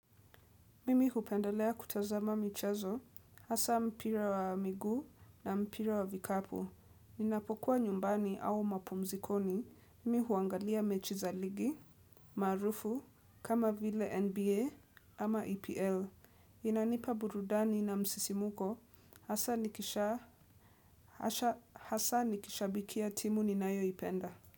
Mimi hupendelea kutazama michezo, hasa mpira wa miguu na mpira wa vikapu. Ninapokuwa nyumbani au mapumzikoni, mimi huangalia mechi za ligi, maarufu, kama vile NBA ama EPL. Inanipa burudani na msisimuko hasa nikisha, hasa nikishabikia timu ninayoipenda.